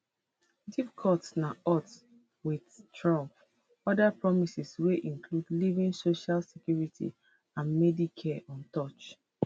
deep cuts na odds wit trump oda promises wey include leaving social security and medicare untouched